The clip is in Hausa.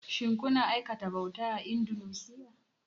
Shin kuna aikata bauta a Indunusiya?